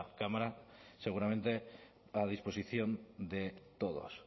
cámara seguramente a disposición de todos